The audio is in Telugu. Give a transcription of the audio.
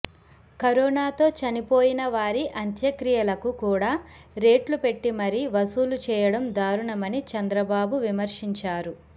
కరోనాతో చనిపోయిన వారి అంత్యక్రియలకు కూడా రేట్లు పెట్టి మరీ వసూలు చేయడం దారుణమని చంద్రబాబు విమర్శించారు